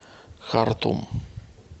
хартум